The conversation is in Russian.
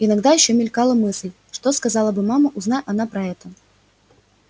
иногда ещё мелькала мысль что сказала бы мама узнав она про это